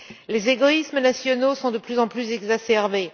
Les égoïsmes nationaux sont de plus en plus exacerbés.